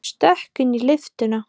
Stökk inn í lyftuna.